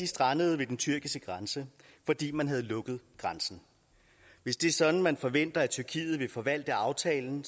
strandet ved den tyrkiske grænse fordi man havde lukket grænsen hvis det er sådan man forventer tyrkiet vil forvalte aftalen